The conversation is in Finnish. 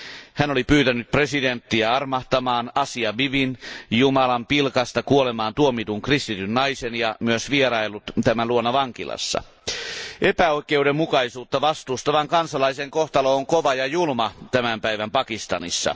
Hän oli pyytänyt presidenttiä armahtamaan Asia Bibin, jumalanpilkasta kuolemaantuomitun kristityn naisen, ja myös vieraillut tämän luona vankilassa. Epäoikeudenmukaisuutta vastustavan kansalaisen kohtalo on kova ja julma tämän päivän Pakistanissa.